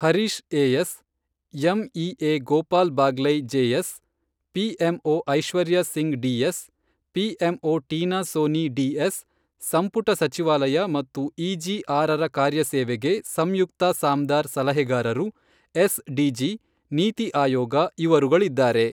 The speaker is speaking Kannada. Harish AS, MEA Gopal Baglay JS, PMO Aishwarya Singh DS, PMO Tina Soni DS ಸಂಪುಟ ಸಚಿವಾಲಯ ಮತ್ತು ಇಜಿ ಆರರ ಕಾರ್ಯಸೇವೆಗೆ ಸಂಯುಕ್ತ ಸಾಮ್ದಾರ್ ಸಲಹೆಗಾರರು, ಎಸ್ ಡಿಜಿ, ನೀತಿ ಆಯೋಗ ಇವರುಗಳಿದ್ದಾರೆ.